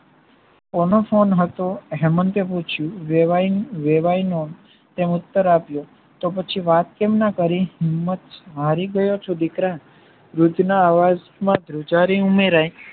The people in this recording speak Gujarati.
કોનો ફોન હતો હેમંતે પૂછ્યું વેવાઈનો ઉત્તર આપ્યો તો પછી વાત કેમ ના કરી હિંમત હરિ ગયો છું દીકરા વૃદ્ધના અવાજમાં ધ્રુજારી ઉમેરાય